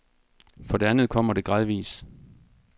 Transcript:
For det andet kommer det gradvis.